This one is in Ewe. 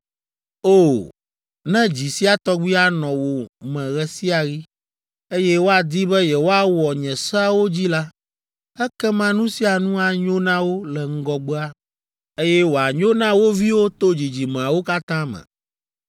O! Ne dzi sia tɔgbi anɔ wo me ɣe sia ɣi, eye woadi be yewoawɔ nye seawo dzi la, ekema nu sia nu anyo na wo le ŋgɔgbea, eye wòanyo na wo viwo to dzidzimeawo katã me!